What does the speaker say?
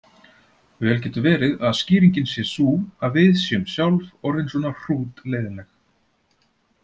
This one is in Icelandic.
Vel getur verið að skýringin sé sú að við séum sjálf orðin svona hrútleiðinleg.